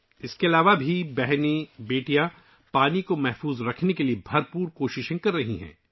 اس کے علاوہ ، بہنیں اور بیٹیاں پانی کے تحفظ کے لیے بھرپور کوششیں کر رہی ہیں